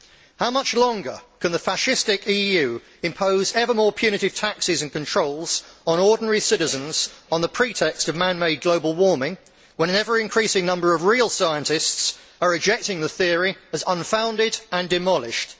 How much longer can the fascistic EU impose ever more punitive taxes and controls on ordinary citizens on the pretext of man made global warming, when an ever increasing number of real scientists are rejecting the theory as unfounded and demolished?